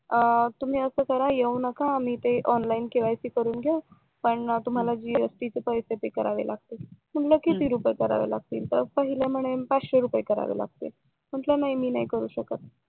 तुम्ही असं करा येऊ नका आम्ही इथे ओंलीने केवायसी करून घेऊ पण तुम्हाला जीएसटी चे पैसे पे करावे लागतील म्हंटल किती रुपये करावे लागतील पाहिलं म्हणे पाचशे रुपये करावे लागतील म्हंटल नाही मी नाही करू शकत